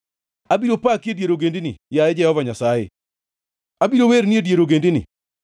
Abiro paki e dier ogendini, yaye Jehova Nyasaye, abiro werni e dier ogendini.